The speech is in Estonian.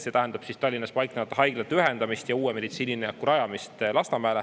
See tähendab siis Tallinnas paiknevate haiglate ühendamist ja uue meditsiinilinnaku rajamist Lasnamäele.